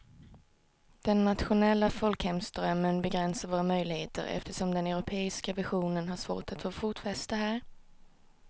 Den nationella folkhemsdrömmen begränsar våra möjligheter eftersom den europeiska visionen har svårt att få fotfäste här.